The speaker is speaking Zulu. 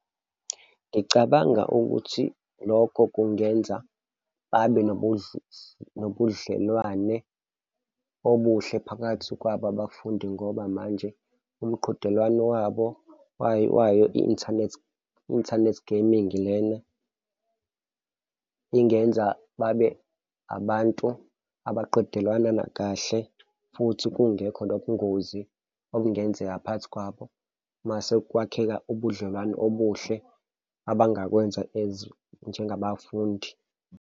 Ngicabanga ukuthi lokho kungenza abe nobudlelwane obuhle phakathi kwabo abafundi ngoba manje umqhudelwano wabo wayo i-inthanethi, i-inthanethi gaming lena ingenza babe abantu abaqedelalwana nakahle futhi kungekho nobungozi okungenzeka phakathi kwabo. Mase kwakheka ubudlelwano obuhle abangakwenza as njengabafundi.